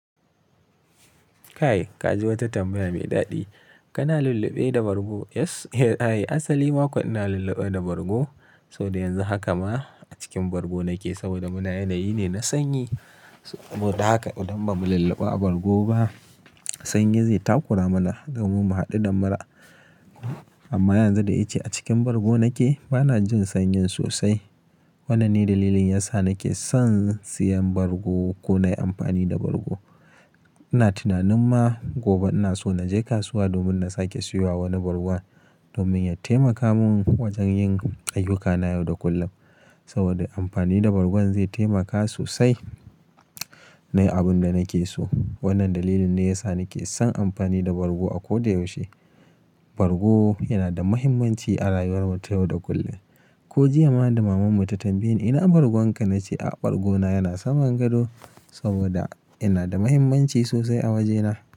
Kai ka ji wata tambaya mai daɗi. Kana lulluɓe da bargo? Yes. Eh, ai. Asali makwa ina lulluɓe da bargo saboda yanzu haka ma a cikin bargo nake saboda mu na yanayi ne na sanyi. Saboda haka idan ba mu lulluɓa a bargo ba. Sanyi zai takura mana domin mu haɗu da mura. Amma yanzu da ya ke a cikin bargo nake, bana jin sanyin sosai. Wannan ne dalilin yasa nake son siyan bargo ko na yi amfani da bargo. Ina tunanin ma gobe ina son na je kasuwa domin na sake sayowa wani bargon domin ya taimaka min wajen yin ayyukana yau da kullum. Saboda amfani da bargo zai taimaka sosai. Na yi abin da nake so. Wannan dalili ne ya sa nake son amfani da bargo a ko da yaushe. Bargo yana da mahimmanci a rayuwar mu ta yau da kullum. Ko jiya ma da mamanmu ta tambaye ni, "ina bargonka?" Na ce a bargona yana saman gado saboda yana da mahimmanci sosai a wajena.